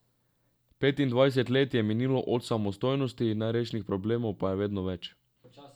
Petindvajset let je minilo od samostojnosti, nerešenih problemov pa je vedno več.